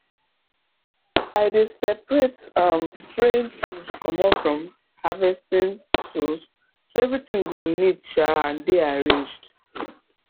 i dey separate um spraying tools comot from harvesting tools so everything go neat um and dey arranged